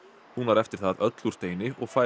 hún var eftir það öll úr steini og fær